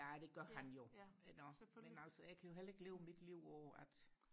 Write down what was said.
ja det gør han jo nå men altså jeg kan jo heller ikke leve mit liv på at